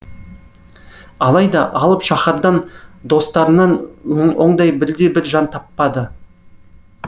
алайда алып шаһардан достарынан ондай бірде бір жан таппады